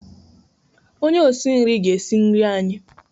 Onye osi nri ga-esi nri anyị.